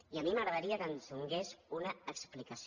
i a mi m’agradaria que ens donés una explicació